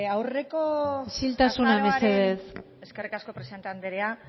isiltasuna mesedez eskerrik asko presidente andrea